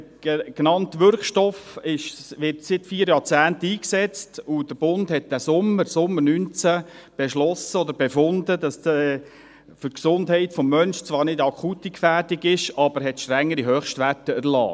Der genannte Wirkstoff wird seit vier Jahrzehnten eingesetzt, und der Bund hat diesen Sommer, im Sommer 2019, beschlossen oder befunden, dass für die Gesundheit des Menschen zwar keine akute Gefährdung besteht – aber er hat strengere Höchstwerte erlassen.